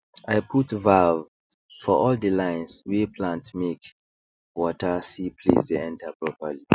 i put valve for all the lines wey plantmake water see place dey enter properly